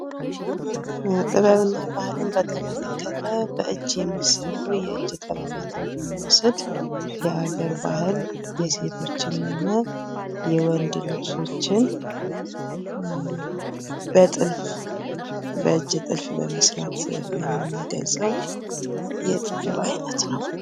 ጥበብና ባህልን በተመለከተ በእጅ የሚሰሩ የእጅ ጥበባትን ብንወስድ በአገር ባህል የሴቶችንም ሆነ የወንድ ልብሶችን በእጅ ጥልፍ በመስራት የምንገልፀው የጥበብ አይነት ነው።